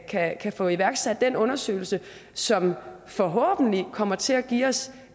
kan få iværksat den undersøgelse som forhåbentlig kommer til at give os